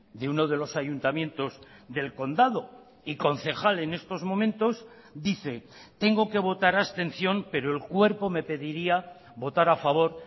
de uno de los ayuntamientos del condado y concejal en estos momentos dice tengo que votar abstención pero el cuerpo me pediría votar a favor